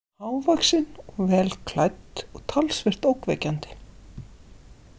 Hávaxin og vel klædd og talsvert ógnvekjandi.